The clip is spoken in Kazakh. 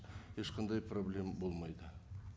ешқандай проблем болмайды